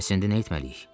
Bəs indi nə etməliyik?